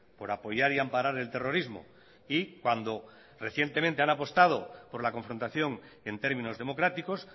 por apoyar y amparar el terrorismo y cuando recientemente han apostado por la confrontación en términos democráticos